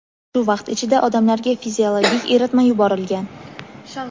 shu vaqt ichida odamlarga fiziologik eritma yuborilgan.